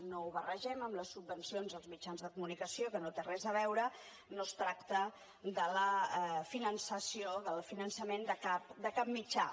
no ho barregem amb les subvencions als mitjans de comunicació que no té res a veure no es tracta del finançament de cap mitjà